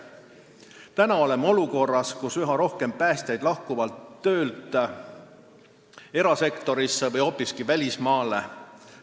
Praegu oleme olukorras, kus üha rohkem päästjaid lahkub töölt erasektorisse või hoopiski välismaale.